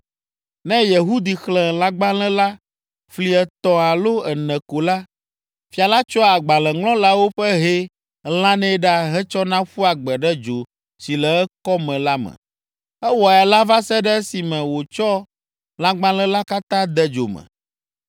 Ne Yehudi xlẽ lãgbalẽ la fli etɔ̃ alo ene ko la, fia la tsɔa agbalẽŋlɔlawo ƒe hɛ lãnɛ ɖa hetsɔna ƒua gbe ɖe dzo si le ekɔme la me. Ewɔe alea va se ɖe esime wòtsɔ lãgbalẽ la katã de dzo me.